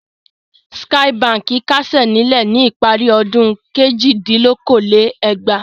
Skye Báńkì kásẹ̀ nílẹ̀ ní ìparí ọdún kejìdínlókòó-lé-ẹgbàá.